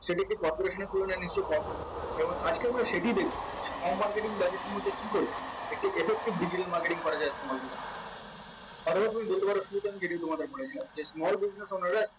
marketing budget কি করে একটি effective digital marketing করা যায় যে small business owner রা